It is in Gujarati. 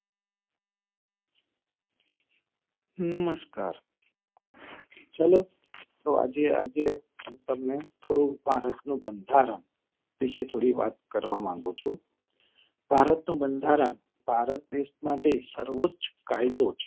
નમસ્કાર ચલો તો આજે આજે તમને થોડું ભારત નું બંધારણ વિશે થોડી વાત કરવા માંગું છું. ભારત નું બંધારણ ભારત દેશ માટે સર્વોચ્ચ કાયદો છે.